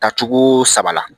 Tacogoo saba la